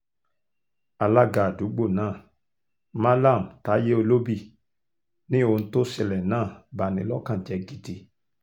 alága àdúgbò náà mallam taiye olóbì ni ohun tó ṣẹlẹ̀ náà bá ní lọ́kàn jẹ́ gidi